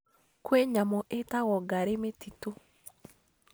Kwĩ nyamũ itagwo ngarĩ mĩtitũ